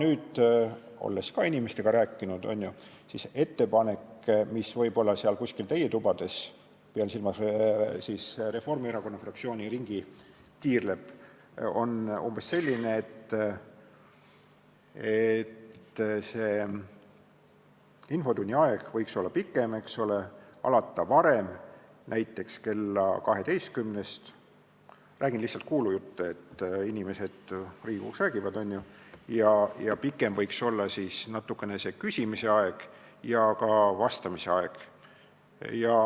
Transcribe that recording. Aga olles inimestega rääkinud, tean, et ettepanek, mis võib-olla kuskil teie tubades – pean silmas Reformierakonna fraktsiooni – tiirleb, on umbes selline, et infotunni aeg võiks olla pikem, infotund võiks alata varem, näiteks kella 12-st – räägin lihtsalt kuulujutte, inimesed Riigikogus räägivad ju – ja natukene pikem võiks olla küsimise ja ka vastamise aeg.